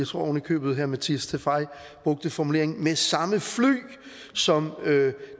tror oven i købet at herre mattias tesfaye brugte formuleringen med samme fly som